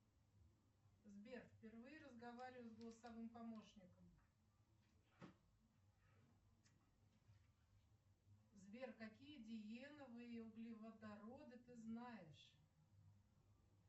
сбер впервые разговариваю с голосовым помощником сбер какие диеновые углеводороды ты знаешь